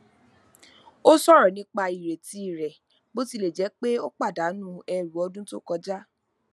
ó sọrọ nípa ireti rẹ bó tilẹ jẹ pé ó pàdánù ẹrù ọdún tó kọjá